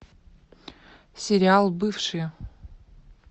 сериал бывшие